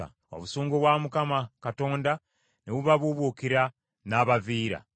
Obusungu bwa Mukama Katonda ne bubabuubuukira, n’abaviira.